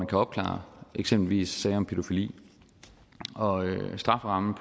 kan opklare eksempelvis sager om pædofili strafferammen